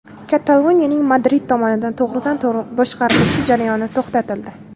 Kataloniyaning Madrid tomonidan to‘g‘ridan-to‘g‘ri boshqarilishi jarayoni to‘xtatildi.